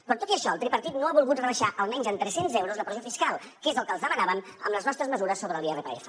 però tot i això el tripartit no ha volgut rebaixar almenys en tres cents euros la pressió fiscal que és el que els demanàvem amb les nostres mesures sobre l’irpf